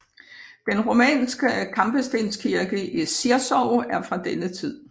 Den romanske kampestenskirke i Zirzow er fra denne tid